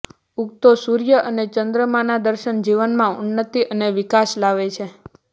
ઉગતો સૂર્ય અને ચંદ્રમાંના દર્શન જીવનમાં ઉન્નતિ અને વિકાસ લાવે છે